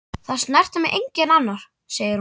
Það snertir mig enginn annar, segir hún.